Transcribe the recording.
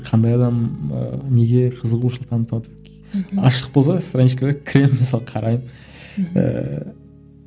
қандай адам ы неге қызығушылық танытыватыр мхм ашық болса страничкаға керемін мысалы қараймын мхм ыыы